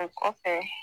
A kɔfɛ